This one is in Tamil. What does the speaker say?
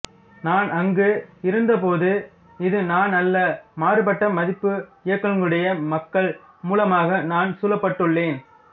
நான் அங்கு இருந்த போது இது நான் அல்ல மாறுப்பட்ட மதிப்பு இயக்கங்களுடைய மக்கள் மூலமாக நான் சூழப்பட்டுள்ளேன்